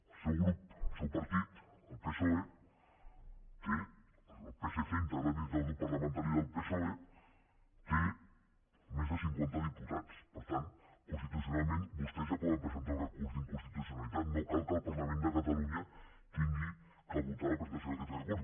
el seu grup el seu partit el psoe el psc integrat dintre del grup parlamentari del psoe té més de cinquanta diputats per tant constitucionalment vostès ja poden presentar un recurs d’inconstitucionalitat no cal que el parlament de catalunya hagi de votar la presentació d’aquest recurs